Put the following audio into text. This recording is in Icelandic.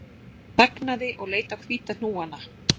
Hann þagnaði og leit á hvíta hnúana